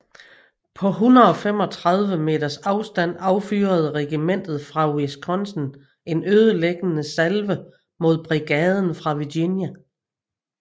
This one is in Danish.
På 135 meters afstand affyrede regimentet fra Wisconsin en ødelæggende salve mod brigaden fra Virginia